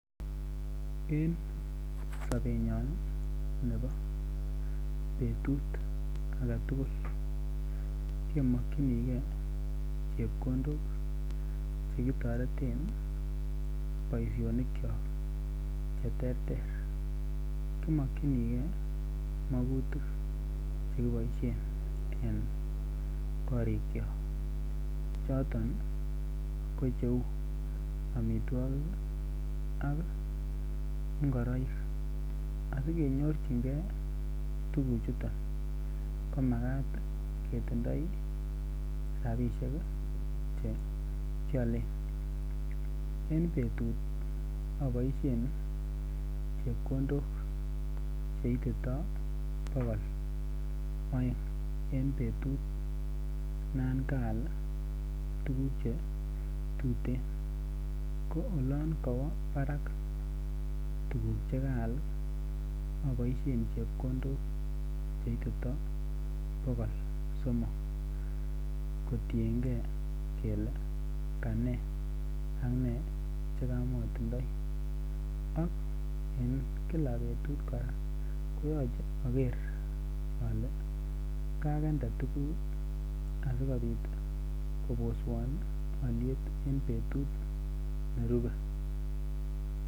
En sobenyon nebo betut age tugul kemokyinige chepkondok Che kitoreten boisionikyok Che terter ki mokyinigei magutik Che kiboisien en korikyok choton ko cheu amitwogik ak ngoroik asi kenyorchingei tuguchuton ko Makat ketindoi rabisiek Che kialen en betut aboisien chepkondok Che ititoi bogol aeng en betut non kaal tuguk Che tuten ko olon kowo barak tuguk Che kaal aboisien chepkondok Che ititoi bogol somok kotienge kele Kane ak ne Che kamatindoi ak en kila betut kora koyoche ager ale kagende tuguk asikobit koboswon alyet en betut nerube